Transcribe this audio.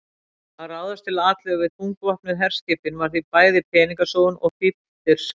Að ráðast til atlögu við þungvopnuð herskipin var því bæði peningasóun og fífldirfska.